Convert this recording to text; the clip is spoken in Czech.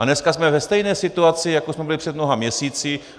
A dneska jsme ve stejné situaci, jako jsme byli před mnoha měsíci.